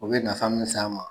U bɛ nafa min ɲɛs'an ma.